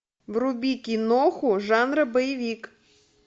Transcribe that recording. вруби киноху жанра боевик